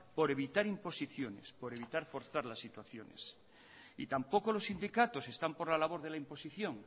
por evitar imposiciones por evitar forzar las situaciones y tampoco los sindicatos están por la labor de la imposición